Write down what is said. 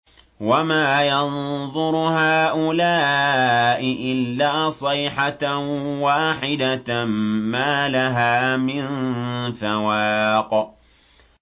وَمَا يَنظُرُ هَٰؤُلَاءِ إِلَّا صَيْحَةً وَاحِدَةً مَّا لَهَا مِن فَوَاقٍ